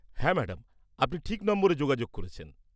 হ্যাঁ, ম্যাডাম! আপনি ঠিক নম্বরে যোগাযোগ করেছেন।